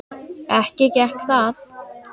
Ekki gekk það.